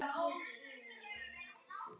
Negla nagla er að reykja.